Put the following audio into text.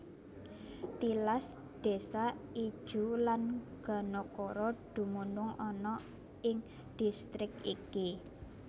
Tilas désa Ijuw lan Ganokoro dumunung ana ing distrik iki